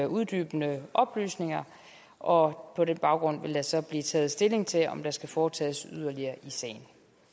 uddybende oplysninger og på den baggrund vil der så blive taget stilling til om der skal foretages yderligere i sagen